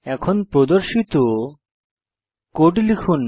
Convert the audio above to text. এখন প্রদর্শিত কোড লিখুন